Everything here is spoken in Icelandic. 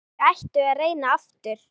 Hvort þau ættu að reyna aftur.